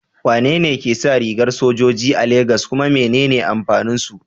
Wane ne ke sa rigar sojoji a Legas, kuma menene amfanin su?